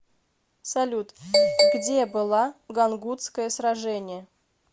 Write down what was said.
салют где была гангутское сражение